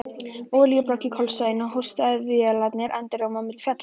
Olíubrák í kjölsoginu og hósti vélarinnar endurómaði á milli fjalla.